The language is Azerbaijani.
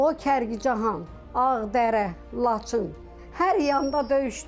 O Kərkicahan, Ağdərə, Laçın, hər yanda döyüşdü.